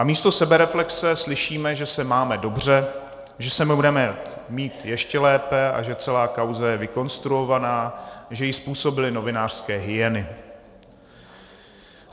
A místo sebereflexe slyšíme, že se máme dobře, že se budeme mít ještě lépe a že celá kauza je vykonstruovaná, že ji způsobily novinářské hyeny.